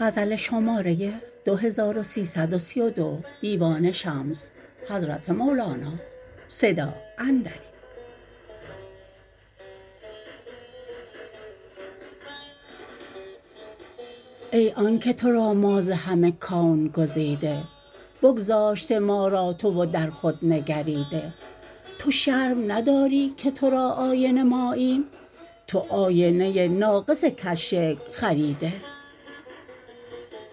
ای آنک تو را ما ز همه کون گزیده بگذاشته ما را تو و در خود نگریده تو شرم نداری که تو را آینه ماییم تو آینه ناقص کژشکل خریده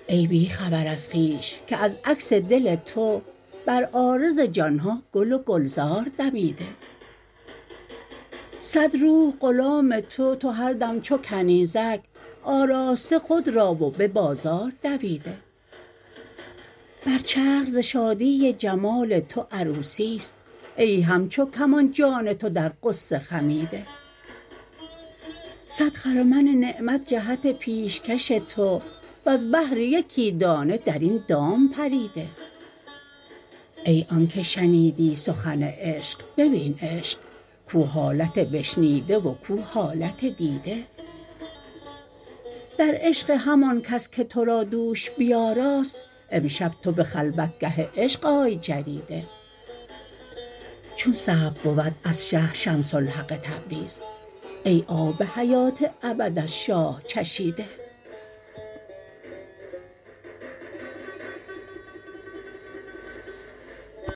ای بی خبر از خویش که از عکس دل تو بر عارض جان ها گل و گلزار دمیده صد روح غلام تو و هر دم چو کنیزک آراسته خود را و به بازار دویده بر چرخ ز شادی جمال تو عروسی است ای همچو کمان جان تو در غصه خمیده صد خرمن نعمت جهت پیشکش تو وز بهر یکی دانه در این دام پریده ای آنک شنیدی سخن عشق ببین عشق کو حالت بشنیده و کو حالت دیده در عشق همان کس که تو را دوش بیاراست امشب تو به خلوتگه عشق آی جریده چون صبر بود از شه شمس الحق تبریز ای آب حیات ابد از شاه چشیده